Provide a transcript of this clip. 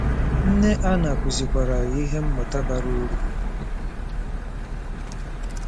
Nne Anna kụzikwaara ya ihe mmụta bara uru.